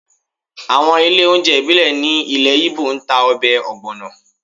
Àwọn ilé oúnjẹ ìbílẹ̀ ní ilẹ̀ Igbo ń ta ọbẹ̀ ogbono